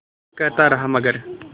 वो कहता रहा मगर